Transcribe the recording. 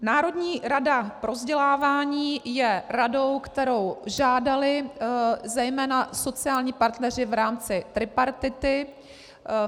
Národní rada pro vzdělávání je radou, kterou žádali zejména sociální partneři v rámci tripartity.